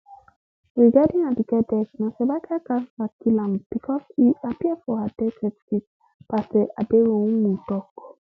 regarding aduke death na cervical cancer kill am becos e appear for her death certificate pastor aderounmu tok